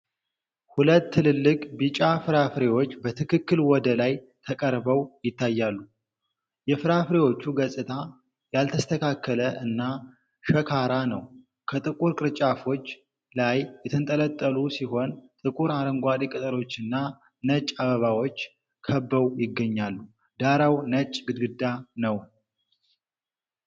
ሁለት ትልልቅ ቢጫ ፍራፍሬዎች በትክክል ወደ ላይ ተቀርበው ይታያሉ። የፍራፍሬዎቹ ገጽታ ያልተስተካከለ እና ሸካራ ነው። ከጥቁር ቅርንጫፎች ላይ የተንጠለጠሉ ሲሆን ጥቁር አረንጓዴ ቅጠሎችና ነጭ አበባዎች ከበው ይገኛሉ። ዳራው ነጭ ግድግዳ ነው።